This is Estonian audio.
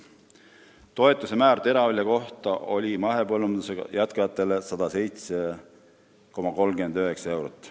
Toetuse määr teravilja hektari kohta oli mahepõllundusega jätkajatele 107,39 eurot.